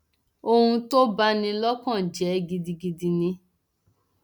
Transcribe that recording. ohun tó bá ní lọkàn jẹ gidigidi ni